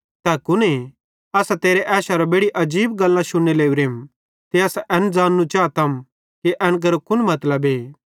असां तेरे ऐशेरां बेड़ि आजीब गल्लां शुन्ने लोरेंम ते असां एन ज़ाननू चातम कि एन केरो कुन मतलबे